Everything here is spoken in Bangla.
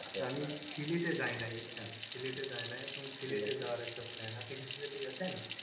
আমি সিলেটে যায় নাই বুঝছেন সিলেটে যায় নাই এখন সিলেটে যাওয়ার একটা plan আপনি কি সিলেটে গেছেন?